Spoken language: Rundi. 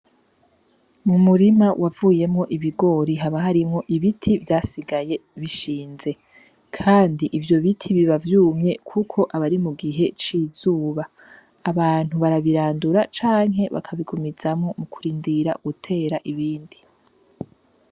Mu murima wavuyemo ibigori haba harimwo ibiti vyasigaye bishinze, kandi ivyo biti bibavyumye, kuko abari mu gihe c'izuba, abantu barabirandura canke bakabigumizamo mu kurindira gutera ibindi.